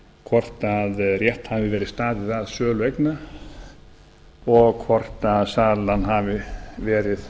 hvort rétt hafi verið staðið að sölu eigna og hvort salan hafi verið